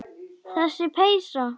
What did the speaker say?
Þessi peysa!